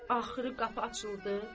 Axırı qapı açıldı.